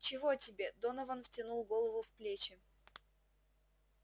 чего тебе донован втянул голову в плечи